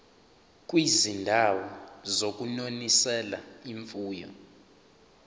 kwizindawo zokunonisela imfuyo